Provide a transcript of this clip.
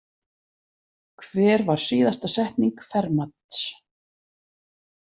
Hver var síðasta setning Fermats?